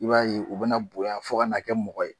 I b'a ye u bɛna bonya fo ka Na kɛ mɔgɔ ye